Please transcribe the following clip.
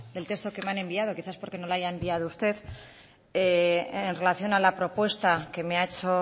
el texto que me han enviado quizás porque no lo haya enviado usted en relación a la propuesta que me ha hecho